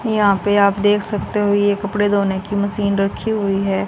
यहां पर आप देख सकते हो ये कपड़े धोने की मशीन रखी हुई है।